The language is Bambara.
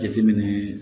Jateminɛ